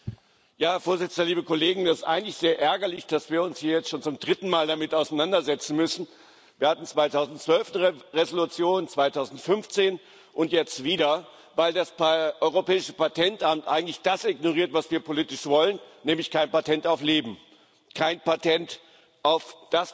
Herr Präsident, liebe Kollegen! Es ist eigentlich sehr ärgerlich, dass wir uns hier jetzt schon zum dritten Mal damit auseinandersetzen müssen Wir hatten 2012 eine Entschließung, 2015 und jetzt wieder, weil das Europäische Patentamt eigentlich das ignoriert, was wir politisch wollen, nämlich kein Patent auf Leben, kein Patent auf